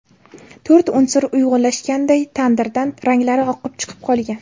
To‘rt unsur uyg‘unlashganday tandirdan ranglari oqib chiqib qolgan.